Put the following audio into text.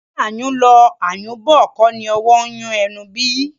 Ǹjẹ́ ayùn lọ, ayùn bọ̀ kọ́ni owó ń yun ẹnu bí?